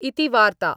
इति वार्ता।।